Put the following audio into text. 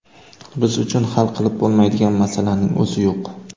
Biz uchun hal qilib bo‘lmaydigan masalaning o‘zi yo‘q.